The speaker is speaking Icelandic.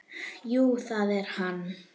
Jú, það er hann.